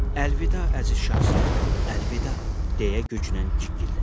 Əlvida əziz şahzadəm, əlvida, deyə güclə cikkildədi.